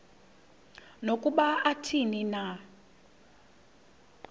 nokuba athini na